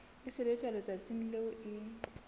e sebetswa letsatsing leo e